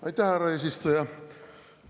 Aitäh, härra eesistuja!